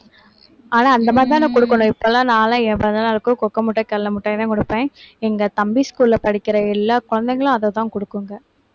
ஆனா அந்த மாதிரிதானே கொடுக்கணும் இப்பலாம் நான்லாம் என் பிறந்தநாளுக்கு cocoa மிட்டாய், கடலை மிட்டாய்தான் கொடுப்பேன் எங்க தம்பி school ல படிக்கிற எல்லா குழந்தைங்களும் அதைதான் கொடுக்குங்க